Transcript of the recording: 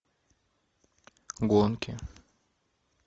гонки